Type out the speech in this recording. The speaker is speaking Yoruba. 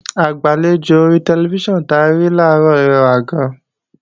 Agbàlejò ori tẹlifíṣàn ta rí làárọ̀ rẹwà gan-an